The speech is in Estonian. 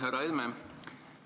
Härra Helme!